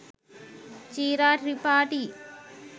“Chira Tripathi “